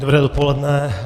Dobré dopoledne.